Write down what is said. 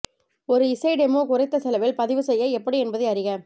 ஒரு இசை டெமோ குறைந்த செலவில் பதிவு செய்ய எப்படி என்பதை அறிக